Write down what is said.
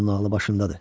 Onun ağlı başındadır.